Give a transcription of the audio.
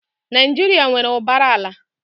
Naijiria nwere ụbara ala.